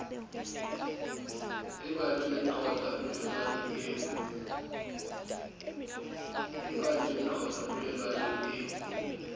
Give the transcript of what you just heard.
e badileng qotsa polelwana eo